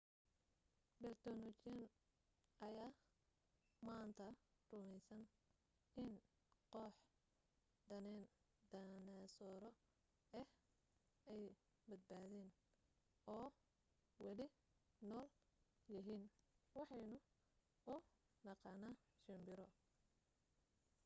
bayltonoloojiyiin ayaa maanta rumaysan in koox dhaynasooro ah ay badbaadeen oo weli nool yihiin waxaynu u naqaanaa shimbiro